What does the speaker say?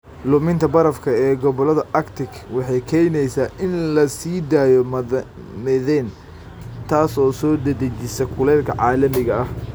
Luminta barafka ee gobollada Arctic waxay keenaysaa in la sii daayo methane, taas oo soo dedejisa kuleylka caalamiga ah.